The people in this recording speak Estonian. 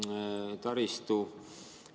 Hasartmängumaksu rahast ehitame me ka kultuuriobjekte.